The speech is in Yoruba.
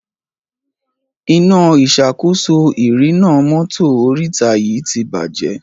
Iná ìṣàkóso ìrìnnà mọ́tò oríta yí tí bàjé.